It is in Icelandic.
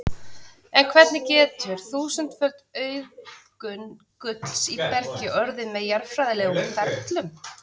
En hvernig getur þúsundföld auðgun gulls í bergi orðið með jarðfræðilegum ferlum?